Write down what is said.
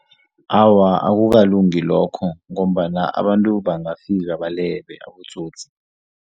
Awa, akukalungi lokho ngombana abantu bangafika balebe abotsotsi.